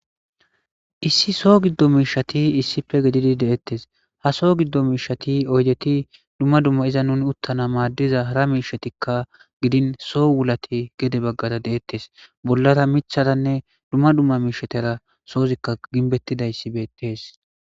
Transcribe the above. issi soo giddo miishati issife gididi deettes ha soo giddo miishati oydeti dumma dumma iza nuni uttana maaddiza hara miishatikka gidin so wulate gede baggara deettes bollara micharanne dumma dumma miishatera soozikka ginbettidayssi beettees